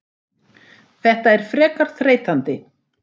Þetta er frekar þreytandi.